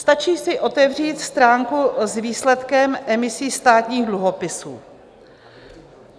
Stačí si otevřít stránku s výsledkem emisí státních dluhopisů.